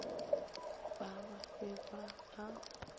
ba ba be ba ba